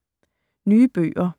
Nye bøger